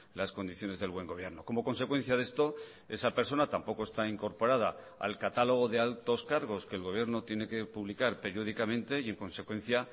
las condiciones del buen gobierno como consecuencia de esto esa persona tampoco está incorporada al catálogo de altos cargos que el gobierno tiene que publicar periódicamente y en consecuencia